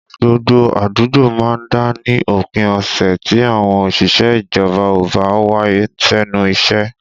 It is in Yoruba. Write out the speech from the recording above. Gbogbo àdúgbò má ń dá ní òpin ọ̀sẹ̀ tí àwọn òṣìṣẹ́ ìjọba ò bá wá sẹ́nu iṣẹ́